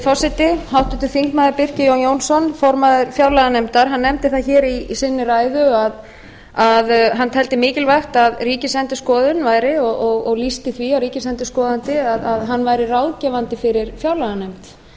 forseti háttvirtur þingmaður birkir jón jónsson formaður fjárlaganefndar nefndi það hér í sinni ræðu að hann teldi mikilvægt að ríkisendurskoðun væri og lýsti því að ríkisendurskoðandi væri ráðgefandi fyrir fjárlaganefnd